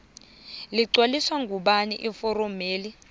ligcwaliswa ngubani iforomeli